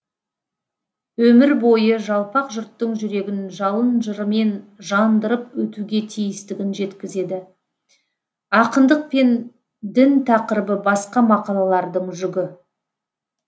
өмір бойы жалпақ жұрттың жүрегін жалын жырымен жандырып өтуге тиістігін жеткізеді ақындық пен дін тақырыбы басқа мақалалардың жүгі